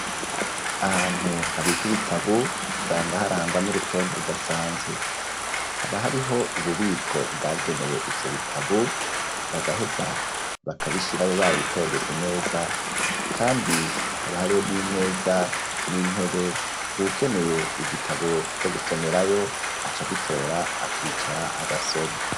Ahantu habikwa ibitabu, usanga harangwa n'urutonde, rudasanzwe, haba hariho ububiko, bwagenewe ivyo bitabu, bagaheza bakabishirayo, babitondetse neza kandi, haba hariho n'imeza, n'intebe, uwukeneye igitabu, co gusomerayo aca agitora, akicara agasoma.